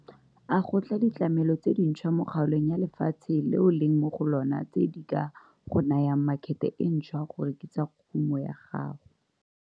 A go tla ditlamelo tse dintshwa mo kgaolong ya lefatshe le o leng mo go lona tse di ka go nayang makhete e ntshwa go rekisa kumo ya gago?